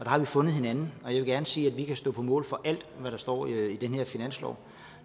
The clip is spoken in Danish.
har vi fundet hinanden og jeg vil gerne sige at vi kan stå på mål for alt der står i den her finanslov